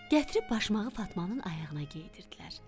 Gətirib başmağı Fatmanın ayağına geydirdilər.